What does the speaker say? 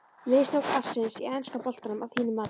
Mistök ársins í enska boltanum að þínu mati?